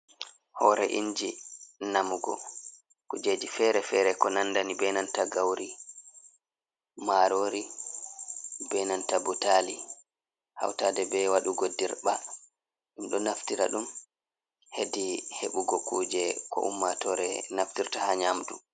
Hoore inji namugo kujeji fere fere ko nandani benanta gauri marori benanta butali hautade be wadugo dirba dumdo naftira dum hedi hebugo kuje ko ummatore naftirta ha nyamdu